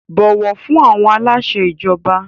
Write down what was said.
Bọ̀wọ̀ fún àwọn aláṣẹ ìjọba!